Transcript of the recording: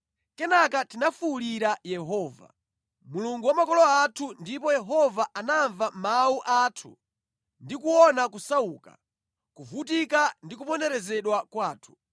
Kenaka tinafuwulira Yehova, Mulungu wa makolo athu ndipo Yehova anamva mawu athu ndi kuona kusauka, kuvutika ndi kuponderezedwa kwathu.